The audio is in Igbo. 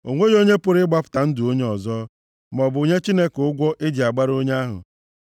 O nweghị onye pụrụ ịgbapụta ndụ onye ọzọ, maọbụ nye Chineke ụgwọ e ji agbara onye ahụ,